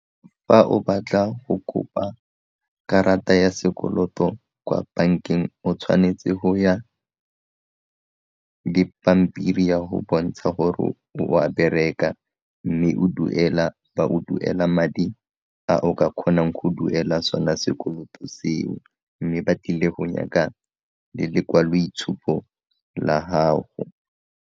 Fa o batla go kopa karata ya sekoloto kwa bankeng o tshwanetse go ya dipampiri ya go bontsha gore o a bereka mme o duela, ba o duela madi a o ka kgonang go duela sona sekoloto seo mme ba tlile go nyaka le lekwaloitshupo la gago.